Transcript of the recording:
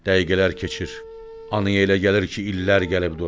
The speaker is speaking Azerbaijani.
Dəqiqələr keçir, anaya elə gəlir ki, illər gəlib dolub.